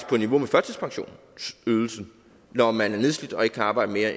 på niveau med førtidspensionsydelsen når man er nedslidt og ikke kan arbejde mere